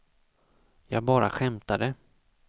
jag bara skämtade